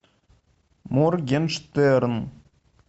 моргенштерн